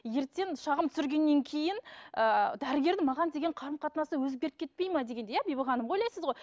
ертең шағым түсіргеннен кейін ыыы дәрігердің маған деген қарым қатынасы өзгеріп кетпей ме дегендей иә бибі ханым ойлайсыз ғой